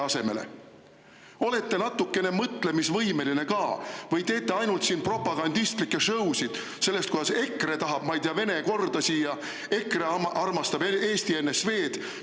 Kas olete natukene mõtlemisvõimeline ka või teete siin ainult propagandistlikke show'sid sellest, kuidas EKRE tahab, ma ei tea, siia Vene korda ja kuidas EKRE armastab Eesti NSV‑d?